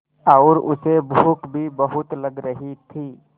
और उसे भूख भी बहुत लग रही थी